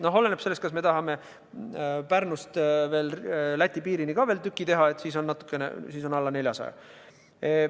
No oleneb sellest, kas tahame Pärnust Läti piirini ka veel tüki teha – sel juhul on neid natukene alla 400 kilomeetri.